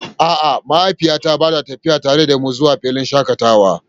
A'a, mahaifiyata ba ta tafi tare da mu zuwa filin shakatawa ba.